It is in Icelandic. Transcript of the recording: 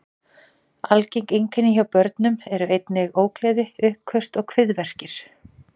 Algeng einkenni hjá börnum eru einnig ógleði, uppköst og kviðverkir.